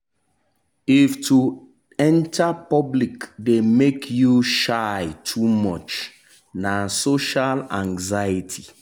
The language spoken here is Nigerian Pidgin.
if to enter public dey make you shy too much na social anxiety.